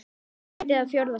Fyrsta sæti eða fjórða sæti?